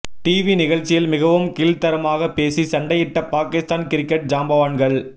TV நிகழ்ச்சியில் மிகவும் கீழ்த்தரமாக பேசி சண்டையிட்ட பாகிஸ்தான் கிரிக்கெட் ஜாம்பவான்கள்